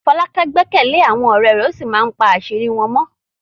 Folake gbẹ́kẹ̀lé àwọn ọ̀rẹ́ rẹ̀ ó sì máa ń pa àṣírí wọn mọ́.